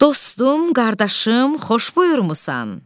Dostum, qardaşım, xoş buyurmusan.